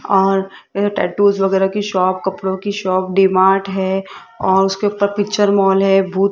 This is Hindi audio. और ये टैटूस वगैरा की शॉप कपड़ो की शॉप डी मार्ट है और उसके ऊपर पिक्चर मॉल है भूत --